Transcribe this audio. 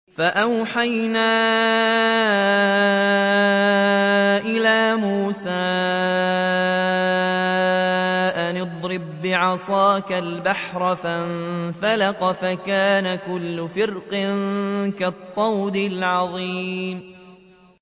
فَأَوْحَيْنَا إِلَىٰ مُوسَىٰ أَنِ اضْرِب بِّعَصَاكَ الْبَحْرَ ۖ فَانفَلَقَ فَكَانَ كُلُّ فِرْقٍ كَالطَّوْدِ الْعَظِيمِ